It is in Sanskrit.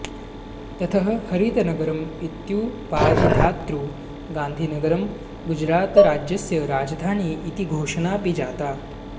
ततः हरितनगरम् इत्युपाधिधातृ गान्धिनगरं गुजरातराज्यस्य राजधानी इति घोषणापि जाता